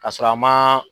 Ka sɔrɔ a ma